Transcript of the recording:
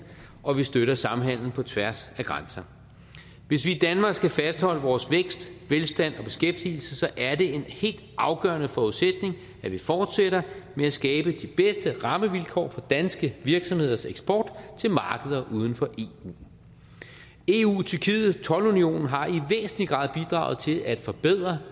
og vi støtter samhandel på tværs af grænser hvis vi i danmark skal fastholde vores vækst velstand og beskæftigelse er det en helt afgørende forudsætning at vi fortsætter med at skabe de bedste rammevilkår for danske virksomheders eksport til markeder uden for eu og tyrkiets toldunion har i væsentlig grad bidraget til at forbedre